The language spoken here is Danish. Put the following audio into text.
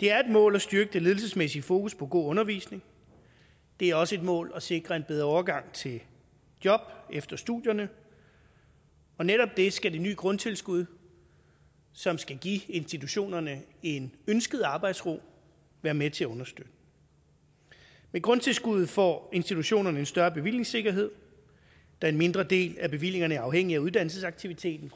det er et mål at styrke det ledelsesmæssige fokus på god undervisning det er også et mål at sikre en bedre overgang til job efter studierne og netop det skal de nye grundtilskud som skal give institutionerne en ønsket arbejdsro være med til at understøtte med grundtilskuddet får institutionerne en større bevillingssikkerhed da en mindre del af bevillingerne er afhængige af uddannelsesaktiviteten